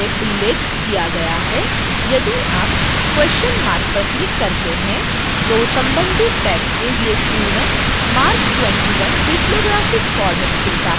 जैसा कि पहले उल्लेख किया गया है यदि आप question mark पर click करते हैं तो संबंधित tag के लिए पूर्ण marc 21 bibliographic format खुलता है